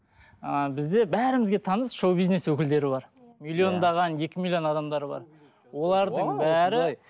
ы бізде бәрімізге таныс шоу бизнес өкілдері бар миллиондаған екі миллион адамдары бар олардың бәрі